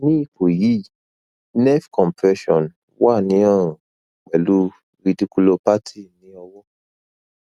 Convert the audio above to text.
ni ipo yi nerve compression wa ni ọrun pẹlu rediculopathy ni ọwọ́